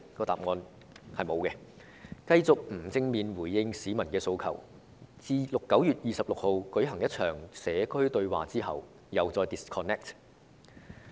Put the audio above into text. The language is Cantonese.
答案是沒有，他們繼續不正面回應市民的訴求，而特首在9月日舉行一場"社區對話"之後，又再與市民 disconnect。